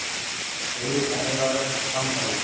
Auðvitað eiga þau öll kampavín!